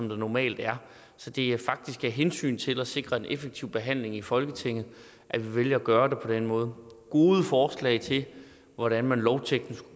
normalt er så det er faktisk af hensyn til at sikre en effektiv behandling i folketinget at vi vælger at gøre det på den måde gode forslag til hvordan man lovteknisk